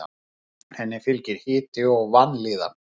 Henni fylgir hiti og vanlíðan.